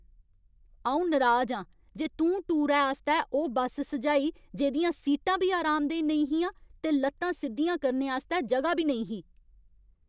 अ'ऊं नराज आं जे तूं टूरै आस्तै ओह् बस सुझाई जेह्दियां सीटां बी अरामदेह् नेईं हियां ते लत्तां सिद्धियां करने आस्तै ज'गा बी नेईं ही।